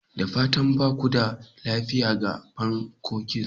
Da fatan ba ku da lafiya ga pancakes?